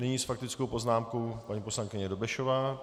Nyní s faktickou poznámkou paní poslankyně Dobešová.